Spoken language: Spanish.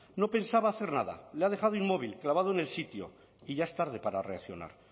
no pensaba hacer nada le ha dejado inmóvil clavado en el sitio y ya es tarde para reaccionar